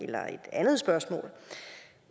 andet spørgsmål